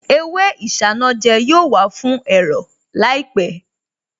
Èwe isanaja yóò wà fún ẹ̀rọ̀ láìpẹ̀